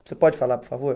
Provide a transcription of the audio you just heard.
Você pode falar, por favor?